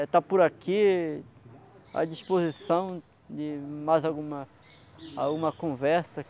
estar por aqui à disposição de mais alguma conversa.